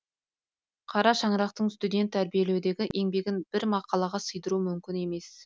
қара шаңырақтың студент тәрбиелеудегі еңбегін бір мақалаға сыйдыру мүмкін емес